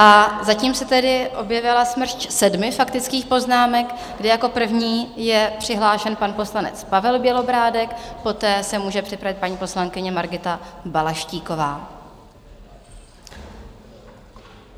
A zatím se tedy objevila smršť sedmi faktických poznámek, kde jako první je přihlášen pan poslanec Pavel Bělobrádek, poté se může připravit paní poslankyně Margita Balaštíková.